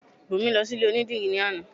Bùnmi lọ sí ilé onídìrí ní àná